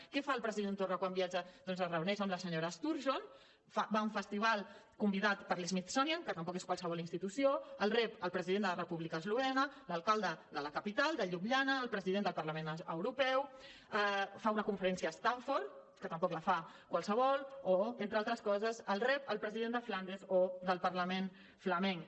què fa el president torra quan viatja doncs es reuneix amb la senyora sturgeon va a un festival convidat per l’smithsonian que tampoc és qualsevol institució el rep el president de la república d’eslovènia l’alcalde de la capital de ljubljana el president del parlament europeu fa una conferència a stanford que tampoc la fa qualsevol o entre altres el rep el president de flandes o del parlament flamenc